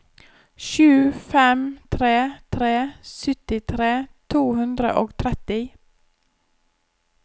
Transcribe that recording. sju fem tre tre syttitre to hundre og tretti